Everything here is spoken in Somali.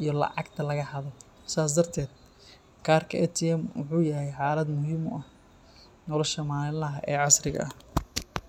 iyo lacagta laga xado. Sidaas darteed, karka ATM wuxuu yahay aalad muhiim u ah nolosha maalinlaha ah ee casriga ah.